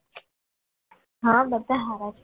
આ બધા સારા છે